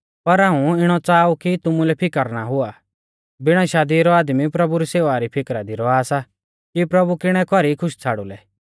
पर हाऊं इणौ च़ाहा ऊ कि तुमुलै फिकर ना हुआ बिणा शादी रौ आदमी प्रभु री सेवा री फिकरा दी रौआ सा कि प्रभु किणै कौरी खुश छ़ाड़ुलै